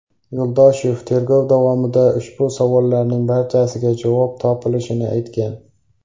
Yo‘ldoshev tergov davomida ushbu savollarning barchasiga javob topilishini aytgan.